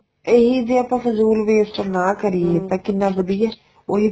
ਇਹੀ ਜੇ ਆਪਾਂ ਫਜੂਲ waste ਨਾ ਕਰੀਏ ਤਾਂ ਕਿੰਨਾ ਵਧੀਆ ਉਹੀ